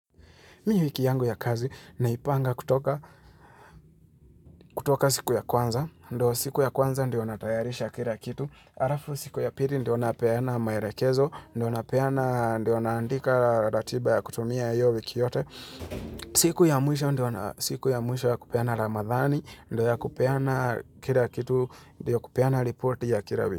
Mie wiki yangu ya kazi naipanga kutoka kutoka siku ya kwanza, ndio siku ya kwanza ndio natayarisha kila kitu, arafu siku ya piri ndio napeana maerekezo, ndio napeana ndio naandika ratiba ya kutumia yoyo wiki yote, siku ya mwisho ndio na siku ya mwisho ya kupeana ramadhani, ndio ya kupeana kila kitu, ndio kupeana report ya kila wiki.